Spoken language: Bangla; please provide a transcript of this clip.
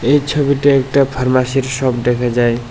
এই ছবিতে একটা ফার্মাসির শপ দেখা যায়।